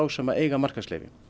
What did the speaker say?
sem eiga markaðsleyfi